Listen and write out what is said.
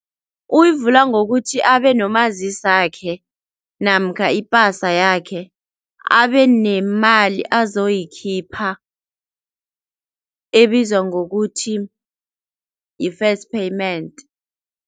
Uyivula ngokuthi abe nomazisakhe namkha ipasa yakhe, abe nemali azoyikhipha ebizwa ngokuthi yi-first payment.